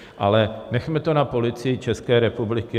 Ale nechme to na Policii České republiky.